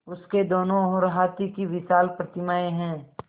उसके दोनों ओर हाथी की विशाल प्रतिमाएँ हैं